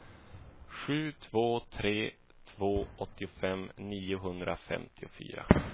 sju två tre två åttiofem niohundrafemtiofyra